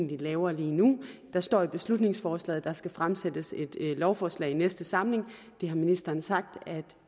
vi laver lige nu der står i beslutningsforslaget at der skal fremsættes et lovforslag i næste samling det har ministeren sagt at